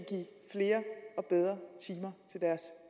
flere og bedre timer til deres